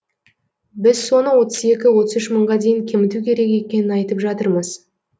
біз соны отыз екі отыз үш мыңға дейін кеміту керек екенін айтып жатырмыз